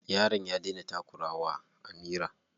Yaron ya daina takura wa Amira.